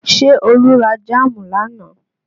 Ṣé Olú ra jáàmù lánàá?